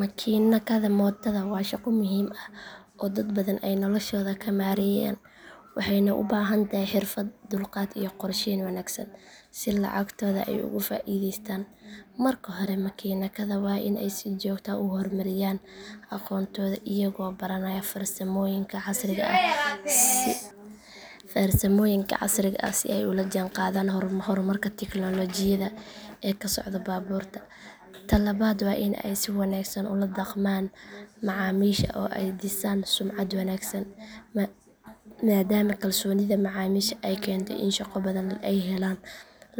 Makaanikada mootada waa shaqo muhiim ah oo dad badan ay noloshooda ka maareeyaan waxayna u baahan tahay xirfad, dulqaad iyo qorsheyn wanaagsan si lacagtooda ay uga faa’iidaystaan. Marka hore makaanikada waa in ay si joogto ah u hormariyaan aqoontooda iyagoo baranaya farsamooyinka casriga ah si ay ula jaanqaadaan horumarka tiknoolajiyadda ee ku socda baabuurta. Ta labaad waa in ay si wanaagsan ula dhaqmaan macaamiisha oo ay dhisaan sumcad wanaagsan maadaama kalsoonida macaamiisha ay keento in shaqo badan ay helaan.